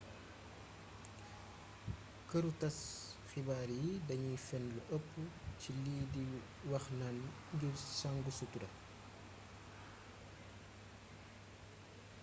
këru tass xibaar yi danuy fenn lu ëpp ci lii di wax naan ngir sang sutura la